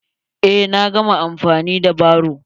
Eh, na gama amfani da baro.